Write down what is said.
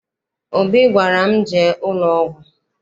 Obi gwara m, jee ụlọọgwụ!